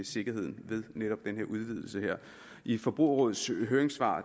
sikkerheden ved netop denne udvidelse i forbrugerrådets høringssvar